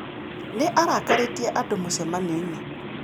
Nĩ arakarĩtie andũ mũcemanio-inĩ